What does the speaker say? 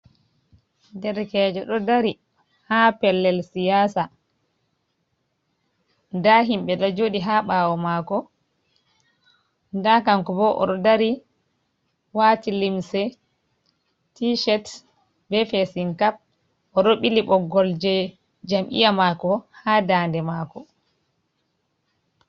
Derkejo ɗo dari haa pellel siyaasa. Nda himɓe ɗo joɗi haa ɓaawo maako, nda kanko bo oɗo dari waati limse ticet, be fesin kap, oɗo ɓili ɓoggol je jammiya maako haa dande maako.